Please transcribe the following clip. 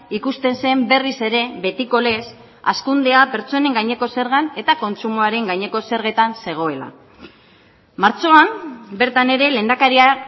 ikusten zen berriz ere betiko lez hazkundea pertsonen gaineko zergan eta kontsumoaren gaineko zergetan zegoela martxoan bertan ere lehendakaria